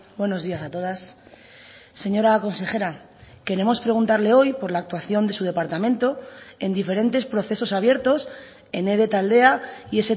buenos días a todas señora consejera queremos preguntarle hoy por la actuación de su departamento en diferentes procesos abiertos en ede taldea y